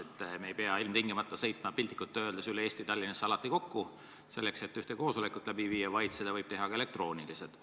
On hea, et me ei pea ilmtingimata sõitma piltlikult öeldes üle Eesti Tallinnasse alati kokku selleks, et ühte koosolekut läbi viia, vaid seda võib teha ka elektrooniliselt.